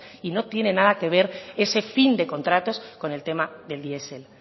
y no tiene nada que ver ese fin de contratos con el tema del diesel